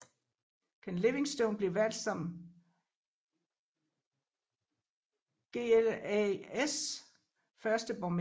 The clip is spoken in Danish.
Ken Livingstone blev valgt som GLAs første borgmester